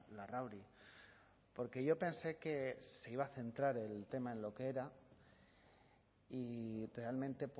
larrauri porque yo pensé que se iba a centrar el tema en lo que era y realmente